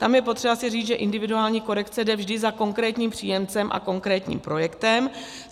Tam je potřeba si říct, že individuální korekce jde vždy za konkrétním příjemcem a konkrétním projektem.